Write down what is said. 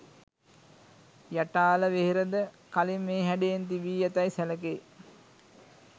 යටාල වෙහෙරද කලින් මේ හැඩයෙන් තිබී ඇතැයි සැලකේ.